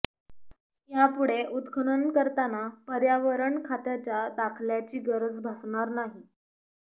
या पुढे उत्खनन करताना पर्यावरण खात्याच्या दाखल्याची गरज भासणार नाही